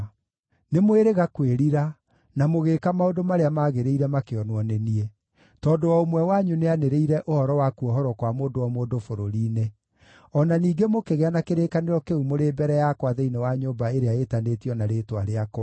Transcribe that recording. Nĩmwĩrĩga kwĩrira, na mũgĩĩka maũndũ marĩa magĩrĩire makĩonwo nĩ niĩ: Tondũ o ũmwe wanyu nĩanĩrĩire ũhoro wa kuohorwo kwa mũndũ o mũndũ bũrũri-inĩ. O na ningĩ mũkĩgĩa na kĩrĩkanĩro kĩu mũrĩ mbere yakwa thĩinĩ wa nyũmba ĩrĩa ĩĩtanĩtio na rĩĩtwa rĩakwa.